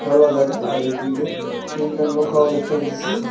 জাগা আর এদিকে তিনডা নৌকাও দেখতে পাইতাসি।